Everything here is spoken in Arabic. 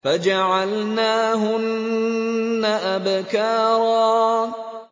فَجَعَلْنَاهُنَّ أَبْكَارًا